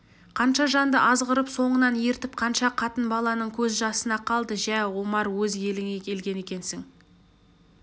қанша жанды азғырып соңынан ертіп қанша қатын-баланың көз жасына қалды жә омар өз еліңе келген екенсің